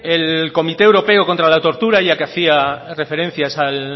el comité europeo contra la tortura ya que hacía referencia